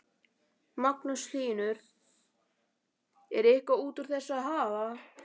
Magnús Hlynur: Er eitthvað út úr þessu að hafa?